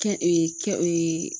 Kɛ kɛ